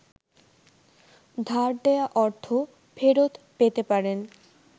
ধার দেয়া অর্থ ফেরৎ পেতে পারেন।